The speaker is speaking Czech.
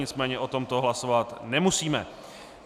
Nicméně o tomto hlasovat nemusíme.